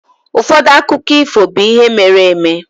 Ụfọdụ akụkọ ifo be ihe mere-eme.